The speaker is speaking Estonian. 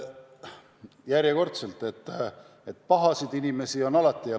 No järjekordselt tuleb tunnistada, et pahasid inimesi on alati.